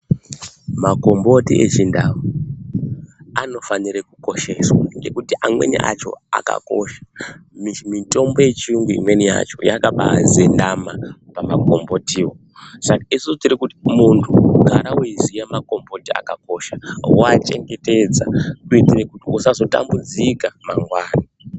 Makomboti echindau anofanire kukosheswa nekuti amweni acho akakosha mitombo yechiyungu imweni yacho yakabazendama pamakombotiwo Saka ka isusu tirikuti muntu gara weiziya makomboti akokosha woachengetedza kuitire kuti usazotambudzika mangwani.